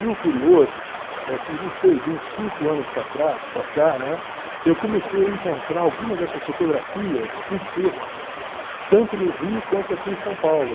E o curioso é que, não sei, de uns cinco anos para para cá, né, eu comecei a encontrar algumas dessas fotografias em sebos, tanto no Rio quanto aqui em São Paulo.